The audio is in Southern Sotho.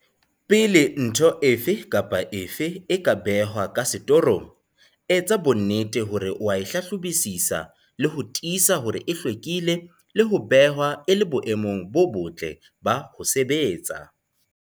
Pele ntho efe kapa efe e ka behwa ka setorong, etsa bonnete hore o a e hlahlobisisa le ho tiisa hore e hlwekile le ho behwa e le boemong bo botle ba ho sebetsa.